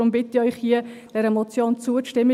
Deshalb bitte ich Sie, dieser Motion zuzustimmen.